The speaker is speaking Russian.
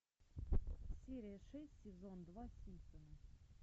серия шесть сезон два симпсоны